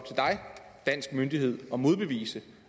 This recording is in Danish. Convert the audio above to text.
danske myndighed at modbevise